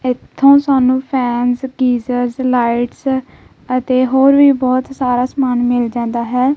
ਇਥੋਂ ਸਾਨੂੰ fans geyser lights ਅਤੇ ਹੋਰ ਵੀ ਬਹੁਤ ਸਾਰਾ ਸਮਾਨ ਮਿਲ ਜਾਂਦਾ ਹੈ।